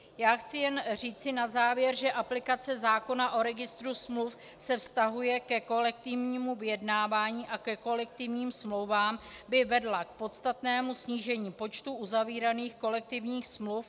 Já chci jen říci na závěr, že aplikace zákona o registru smluv se vztahuje ke kolektivnímu vyjednávání a ke kolektivním smlouvám, by vedla k podstatnému snížení počtu uzavíraných kolektivních smluv.